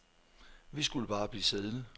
Vi skulle bare blive siddende.